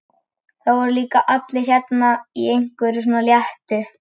Það voru líka allir hérna í einhverju svona léttu.